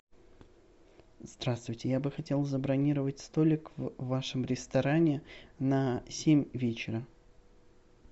здравствуйте я бы хотел забронировать столик в вашем ресторане на семь вечера